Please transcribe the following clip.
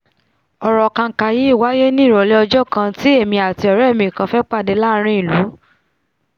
ọ̀rọ̀ kànkà yí wáíyé ní ìrọ̀lẹ́ ọjọ́ kan tí èmi àti ọ̀rẹ́ mi kan fẹ́ pàdé láàrin ìlú